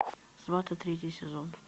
сваты третий сезон